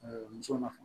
muso na